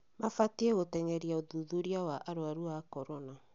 Mabatiĩ gũte'ngeria ũthuthuria wa arwaru a korona